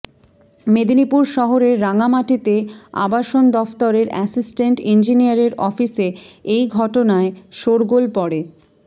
মেদিনীপুর শহরের রাঙামাটিতে আবাসন দফতরের অ্যাসিস্ট্যান্ট ইঞ্জিনিয়ারের অফিসে এই ঘটনায় শোরগোল পড়ে